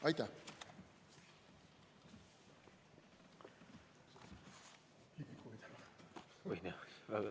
Aitäh!